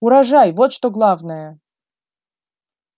урожай вот что главное